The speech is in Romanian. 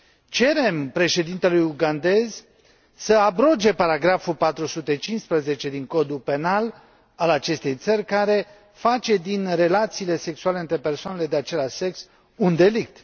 Cerem președintelui ugandez să abroge paragraful 415 din Codul Penal al acestei țări, care face din relațiile sexuale între persoanele de același sex un delict.